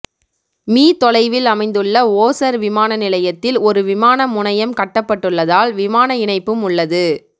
me தொலைவில் அமைந்துள்ள ஓசர் விமானநிலையத்தில் ஒரு விமான முனையம் கட்டப்பட்டுள்ளதால் விமான இணைப்பும் உள்ளது